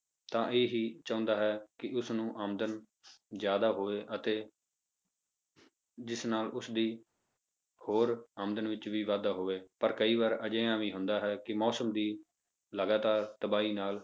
ਤਾਂ ਇਹ ਹੀ ਚਾਹੁੰਦਾ ਹੈ ਕਿ ਉਸਨੂੰ ਆਮਦਨ ਜ਼ਿਆਦਾ ਹੋਵੇ ਅਤੇ ਜਿਸ ਨਾਲ ਉਸਦੀ ਹੋਰ ਆਮਦਨ ਵਿੱਚ ਵੀ ਵਾਧਾ ਹੋਵੇ ਪਰ ਕਈ ਵਾਰ ਅਜਿਹਾ ਵੀ ਹੁੰਦਾ ਹੈ, ਕਿ ਮੌਸਮ ਦੀ ਲਗਾਤਾਰ ਤਬਾਹੀ ਨਾਲ,